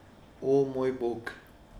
O, moj bog!